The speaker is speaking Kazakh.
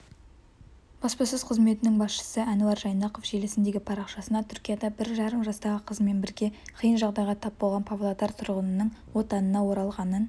баспасөз қызметінің басшысы әнуар жайнақов желісіндегі парақшасына түркияда бір жарым жастағы қызымен бірге қиын жағдайға тап болған павлодар тұрғынының отанына оралғанын